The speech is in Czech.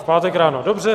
V pátek ráno, dobře.